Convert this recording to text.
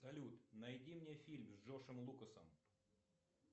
салют найди мне фильм с джошем лукасом